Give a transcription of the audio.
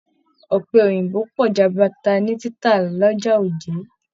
Ọpẹ Òyìnbó pọ jaburata ni títà l'ọja Oje.